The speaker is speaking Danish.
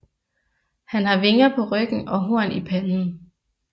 Han har vinger på ryggen og horn i panden